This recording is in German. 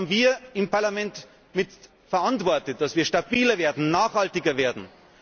Das haben wir im Parlament mit verantwortet, dass wir stabiler werden, nachhaltiger werden.